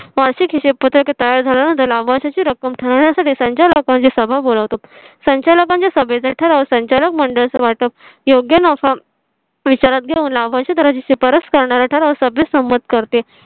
तयार झाल्यानंतर लाभांश ची रक्कम ठरवण्या साठी संचालकांची सभा बोलावतो संचालकांच्या सभेत ठराव संचालक मंडळ वाटप योग्य नफा विचारात घेऊन लाभांश ची शिफारस करणारा ठराव सभेत संमत करते